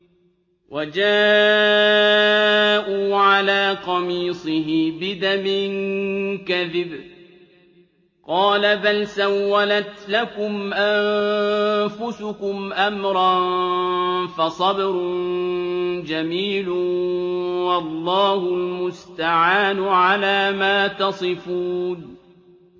وَجَاءُوا عَلَىٰ قَمِيصِهِ بِدَمٍ كَذِبٍ ۚ قَالَ بَلْ سَوَّلَتْ لَكُمْ أَنفُسُكُمْ أَمْرًا ۖ فَصَبْرٌ جَمِيلٌ ۖ وَاللَّهُ الْمُسْتَعَانُ عَلَىٰ مَا تَصِفُونَ